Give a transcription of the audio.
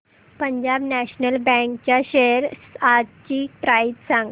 Punjab National Bank च्या shares आजची price सांगा